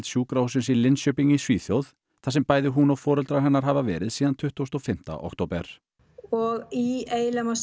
sjúkrahússins í Linköping í Svíþjóð þar sem bæði hún og foreldrar hennar hafa verið síðan tuttugasta og fimmta október og í eiginlega